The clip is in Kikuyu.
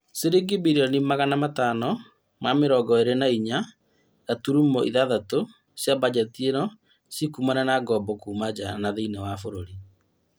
Ciringi birioni magana matano ma mĩrongo ĩrĩ na inya gaturumo ithathatũ cia mbanjeti ĩyo cikumana na ngombo Kuma nja na thĩinĩ wa bũrũri